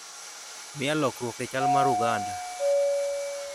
Miya lokruok e chal mar uganda